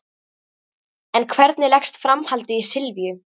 En hvernig leggst framhaldið í Silvíu?